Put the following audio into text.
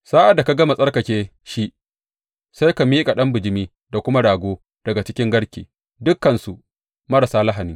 Sa’ad da ka gama tsarkake shi, sai ka miƙa ɗan bijimi da kuma rago daga cikin garke, dukansu marasa lahani.